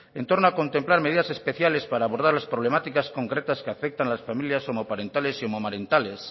en torno a contemplar medidas especiales para abordar las problemáticas concretas que afectan a las familias homoparentales y homomarentales